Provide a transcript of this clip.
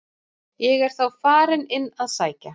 Ég er þá farinn inn að sækja